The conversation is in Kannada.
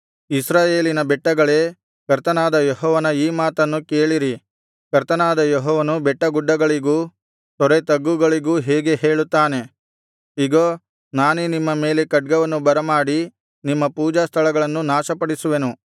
ಇಸ್ರಾಯೇಲಿನ ಬೆಟ್ಟಗಳೇ ಕರ್ತನಾದ ಯೆಹೋವನ ಈ ಮಾತನ್ನು ಕೇಳಿರಿ ಕರ್ತನಾದ ಯೆಹೋವನು ಬೆಟ್ಟಗುಡ್ಡಗಳಿಗೂ ತೊರೆತಗ್ಗುಗಳಿಗೂ ಹೀಗೆ ಹೇಳುತ್ತಾನೆ ಇಗೋ ನಾನೇ ನಿಮ್ಮ ಮೇಲೆ ಖಡ್ಗವನ್ನು ಬರಮಾಡಿ ನಿಮ್ಮ ಪೂಜಾಸ್ಥಳಗಳನ್ನು ನಾಶಪಡಿಸುವೆನು